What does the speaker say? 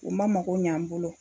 O ma mago ɲ'an bolo